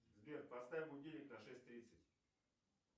сбер поставь будильник на шесть тридцать